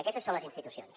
aquestes són les institucions